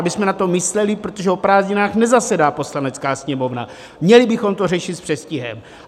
Abychom na to mysleli, protože o prázdninách nezasedá Poslanecká sněmovna, měli bychom to řešit s předstihem.